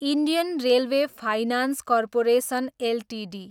Indian railway finance corporation Ltd